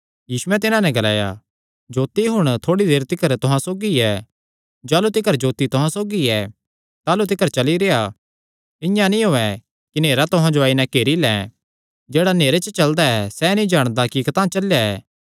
यीशुयैं तिन्हां नैं ग्लाया जोत्ती हुण थोड़ी देर तिकर तुहां सौगी ऐ जाह़लू तिकर जोत्ती तुहां सौगी ऐ ताह़लू तिकर चली रेह्आ इआं नीं होयैं कि नेहरा तुहां जो आई नैं घेरी लैं जेह्ड़ा नेहरे च चलदा ऐ सैह़ नीं जाणदा कि कतांह चलेया ऐ